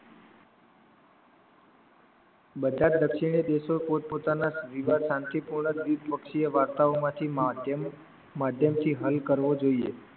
બધા જ દક્ષિણે દેશો પોતપોતાના વિવાહ શાંતિપૂર્ણ ગીત પક્ષી એ વાર્તાઓમાંથી માધ્યમથી હલ કરવો જોઈએ